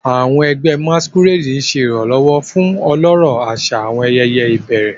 Àwọn ẹgbẹ́ Masquerade ń ṣe ìrànlọ́wọ́ fún ọlọ́rọ̀ àṣà àwọn ayẹyẹ ìbẹ̀rẹ̀.